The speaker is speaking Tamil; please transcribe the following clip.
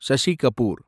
ஷஷி கபூர்